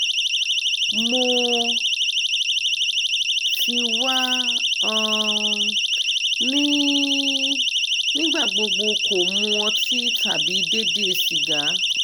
mo ti wa um ni nigbagbogbo ko mu oti tabi deede siga